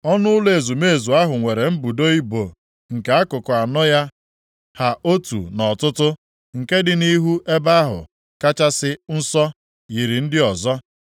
Ọnụ ụlọ ezumezu ahụ nwere mbudo ibo nke akụkụ anọ ya ha otu nʼọtụtụ. Nke dị nʼihu Ebe ahụ Kachasị Nsọ, yiri ndị ọzọ.